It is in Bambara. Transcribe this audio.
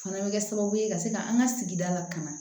Fana bɛ kɛ sababu ye ka se ka an ka sigida lakana